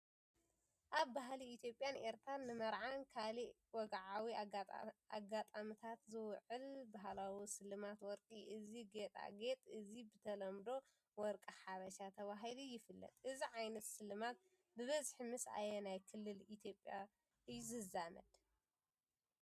ኣብ ባህሊ ኢትዮጵያን ኤርትራን፡ ንመርዓን ካልእ ወግዓዊ ኣጋጣሚታትን ዝውዕል ባህላዊ ስልማት ወርቂ እዩ። እዚ ጌጣጌጥ እዚ ብተለምዶ "ወርቂ ሓበሻ" ተባሂሉ ይፍለጥ። እዚ ዓይነት ሽልማት ብብዝሒ ምስ ኣየናይ ክልል ኢትዮጵያ እዩ ዝዛመድ?